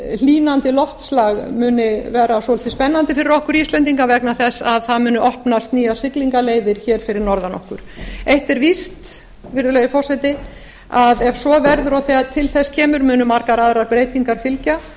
hlýnandi loftslag muni vera svolítið spennandi fyrir okkur íslendinga vegna þess að það muni opnast nýjar siglingaleiðir hér fyrir norðan okkur eitt er víst virðulegi forseti að ef svo verður og ef til þess kemur munu margar aðrar breytingar fylgja